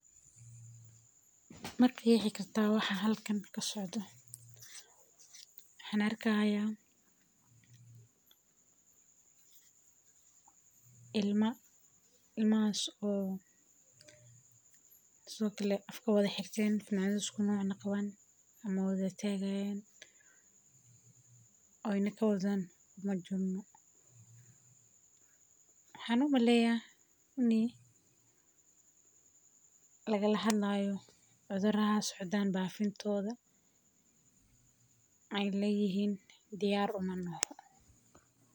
Maqexi kartaa waxa halkan kasocdo waxan ku arki haya ilma sithokale afka xirten maxan u maleya in lagala hadlayo cudhurada socdo waxee leyihin diyar uma nahno.